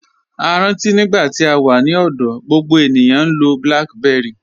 A rántí nígbà tí à wà ní ọ̀dọ̀, gbogbo ènìyàn ń lọ̀ BlackBerry.